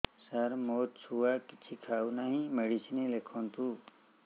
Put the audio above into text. ସାର ମୋ ଛୁଆ କିଛି ଖାଉ ନାହିଁ ମେଡିସିନ ଲେଖନ୍ତୁ